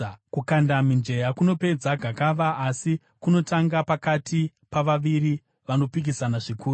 Kukanda mijenya kunopedza gakava, uye kunotonga pakati pavaviri vanopikisana zvikuru.